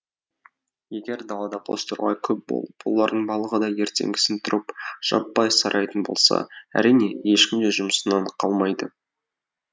егер далада бозторғай көп болып олардың барлығы да ертеңгісін тұрып жаппай сайрайтын болса әрине ешкім де жұмысынан қалмайды